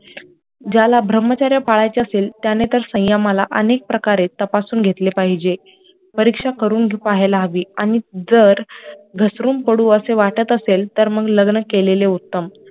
ज्याला ब्रह्मचर्य पडायचे असेल त्याने तर संयमाला अनेक प्रकारे तपासून घेतले पाहिजे, परीक्षा करून पाहायला हवी आणि जर घसरून पडू असे वाटत असेल तर मग लग्न केलेले उत्तम